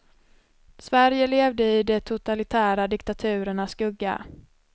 Sverige levde i de totalitära diktaturernas skugga.